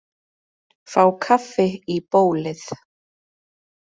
Fá kaffi í bólið.